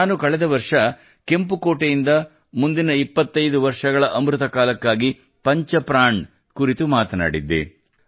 ನಾನು ಕಳೆದ ವರ್ಷ ಕೆಂಪು ಕೋಟೆಯಿಂದ ಮುಂದಿನ 25 ವರ್ಷಗಳ ಅಮೃತ ಕಾಲಕ್ಕಾಗಿ ಪಂಚ ಪ್ರಾಣ್ ಕುರಿತು ಮಾತನಾಡಿದ್ದೆ